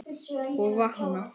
Og vakna!